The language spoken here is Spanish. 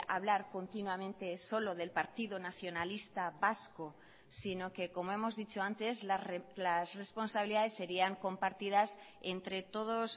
hablar continuamente solo del partido nacionalista vasco sino que como hemos dicho antes las responsabilidades serían compartidas entre todos